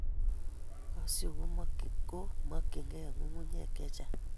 kasyu ko makyingei ng'ung'unyek che chang'